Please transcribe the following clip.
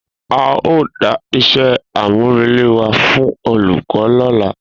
A o da iṣẹ àmú rele wa fún olùkọ lọla